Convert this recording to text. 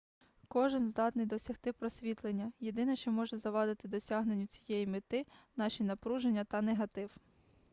кожен здатний досягти просвітлення єдине що може завадити досягненню цієї мети наші напруження та негатив